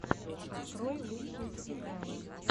открой лучшие сериалы